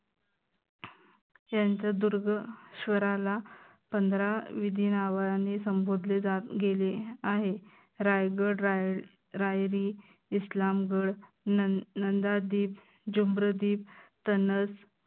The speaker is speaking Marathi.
दुर्ग स्वराला पंधरा विविध नावांनी संबोधले जा गेले आहे राजगड, रायरी, इस्लामगड, नंदा दीप, जाम्बर दीप, तनस